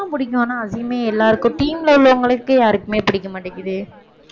பிடிக்கும் ஆனா அசீமே எல்லாருக்கும் team ல உள்ளவங்களுக்கே யாருக்குமே பிடிக்க மாட்டேங்குதே